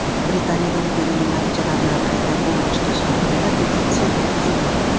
Britaniyada referendum natijalarini qayta ko‘rib chiqish haqida petitsiya tuzildi.